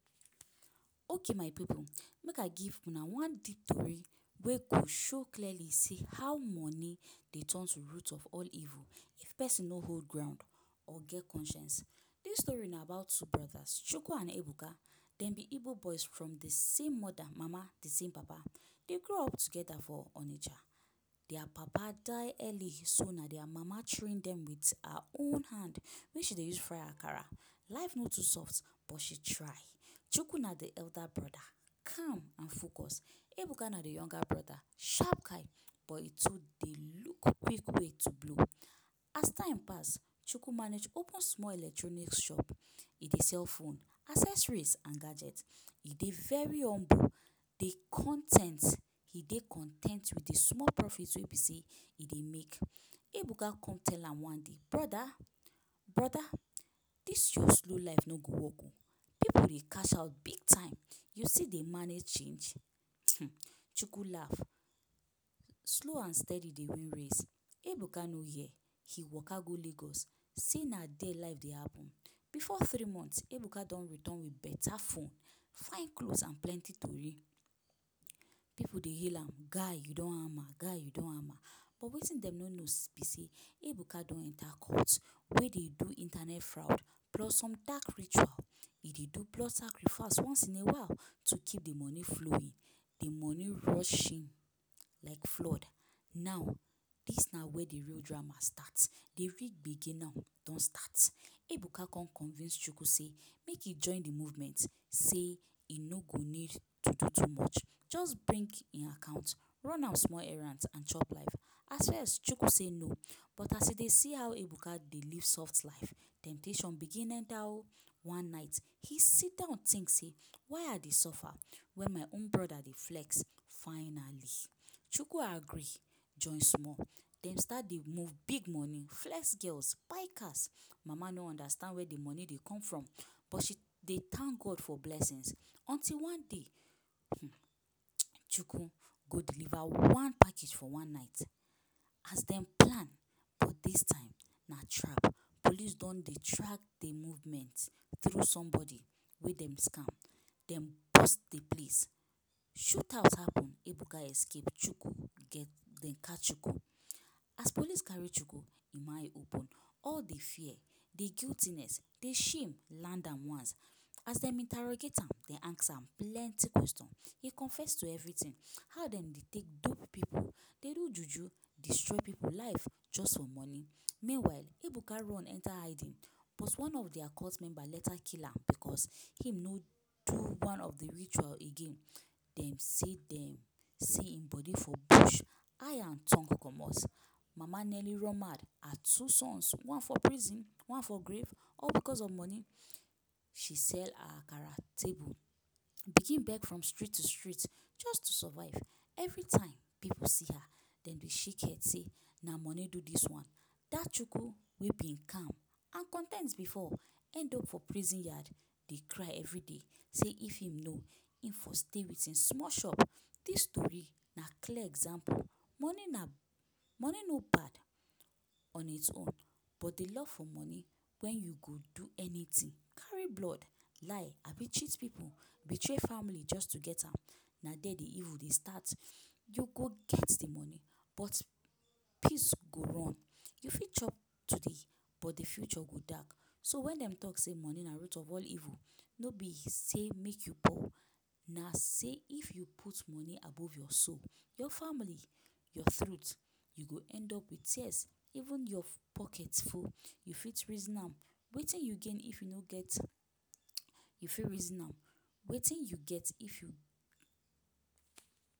Okay my pipu, make I give una one deep tory wey go show clearly sey how money dey turn to root of all evil if pesin no hold ground or get conscience. Dis story na about two brothers – Choco and Ebuka. Dem be Igbo boys from the same mother (mama), de same papa. Dem grow up together for Onitsha. Dia papa die early, so na dia mama train dem with her own hand wey she dey use fry Akara. Life no too soft, but she try. Choco na de elder brother. Calm and focus. Ebuka na de younger brother. Sharp guy, but e too dey look big way to blow. As time pass, Choco manage open small electronics shop. E dey sell phone, accessories and gadget. E dey very humble, dey con ten t. E dey con ten t with de small profit wey be sey e dey make. Ebuka come tell am one day ‘Brother, brother, dis your slow life no go work o! Pipu dey cash out big time, you still dey manage change?’ um Choco laff. Slow and steady dey win race. Ebuka no hear, e waka go Lagos sey na there life dey happen. Before three months, Ebuka don return with better phone, fine clothes and plenty story. um Pipu dey hail am ‘guy you don hammer, guy you don hammer’. But wetin dem no know be sey Ebuka don enter cult wey dey do internet fraud plus some dark ritual. E dey do blood sacrifice once in a while to keep the money flowing, the money rushing like flood. Now dis na where de real drama start. De real gbege now don start. Ebuka come convince Choco sey make e join de movement sey e no go need to do too much. Just bring e account, run am small errands and chop life. At first Choco say no, but as e dey see how Ebuka dey live soft life, temptation begin enter o. One night, he sit down think say ‘why I dey suffer when my own brother dey flex?’ Finally, Choco agree, join small. Dem start dey move big money, flex girls, buy cars. Mama no understand where the money dey come from, but she dey thank God for blessings. Until one day um, Choco go deliver one package for one night. As dem plan, but dis time, na trap. Police don dey track de movement through somebody wey dem scam. Dem burst the place, shootout happen. Ebuka escape, Choco de catch Choco. As police carry Choco, im eye open. All de fear, de guiltiness, de shame land am once. As dem interrogate am, dem ask am plenty question, e confess to everything. How dem dey take dupe pipu, dey do juju destroy pipu life just for money. Meanwhile, Ebuka run enter hiding. But one of dia cult member later kill am because him no do one of the ritual again. Dem say dem see im body for bush - eye and tongue comot. Mama nearly run mad. Her two sons, one for prison one for grave? All because of money? She sell her Akara table, begin beg from street to street just to survive. Every time pipu see her, dem dey shake head sey na money do dis one. Dat Choco wey been calm and con ten t before, end up for prison yard dey cry every day sey if im know, e for stay with e small shop. Dis story na clear example. Money na money no bad on its own, but de love for money when you go do anything, carry blood, lie abi cheat pipu, betray family just to get am, na there the evil dey start. You go get the money, but peace go run. You fit chop today, but the future go dark. So when dem talk sey money na root of all evil, no be sey make you poor. Na sey, if you put money above your soul, your family, your truth, you go end up with tears even your pocket full. You fit reason am, wetin you gain if you no get, you fit reason am, wetin you get if you…